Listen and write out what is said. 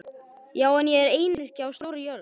Já, ég er einyrki á stórri jörð.